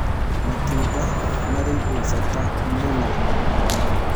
Matunda marĩ na ũsaĩdĩzĩ mũhĩmũ